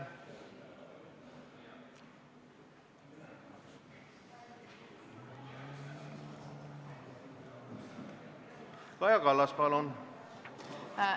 Kaja Kallas, palun!